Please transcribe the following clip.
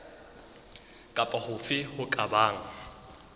kapa hofe ho ka bang